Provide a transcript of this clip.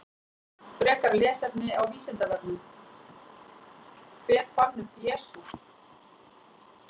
Frekara lesefni á Vísindavefnum: Hver fann upp Jesú?